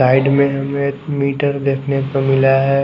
Side में हमे एक मीटर देखने को मिला है।